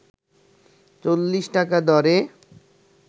৪০ টাকা দরে